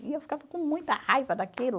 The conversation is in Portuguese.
E eu ficava com muita raiva daquilo.